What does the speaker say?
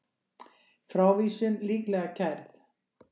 Frávísun líklega kærð